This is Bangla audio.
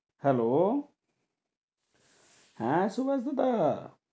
Hello হ্যাঁ সুবাস দাদা।